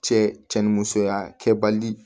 Cɛ cɛ ni musoya kɛbali